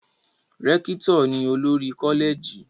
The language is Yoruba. Rékítò ni olórí Kọ́lẹ̀gì